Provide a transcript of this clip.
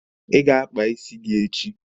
Ị ga-akpa isi echi?